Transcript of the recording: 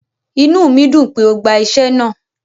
Ìnú mi dùn pé o gba iṣẹ̀ náà